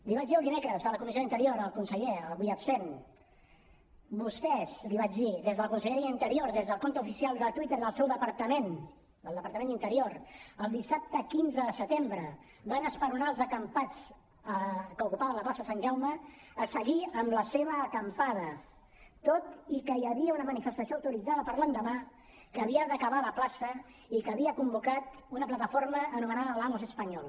li vaig dir el dimecres a la comissió d’interior al conseller avui absent vostès li vaig dir des de la conselleria d’interior des del compte oficial de twitter del seu departament del departament d’interior el dissabte quinze de setembre van esperonar els acampats que ocupaven la plaça sant jaume a seguir amb la seva acampada tot i que hi havia una manifestació autoritzada per a l’endemà que havia d’acabar a la plaça i que havia convocat una plataforma anomenada hablamos español